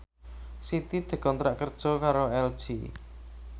Siti dikontrak kerja karo LG